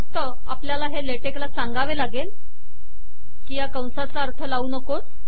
फक्त आपल्याला LaTeX ला सांगावे लागेल की कंसांचा अर्थ लावू नकोस